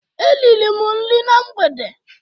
E riri m nri na mgbede